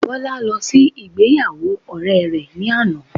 Bola lọ sí ibi ìgbéyàwó ọ̀rẹ́ rẹ ní àná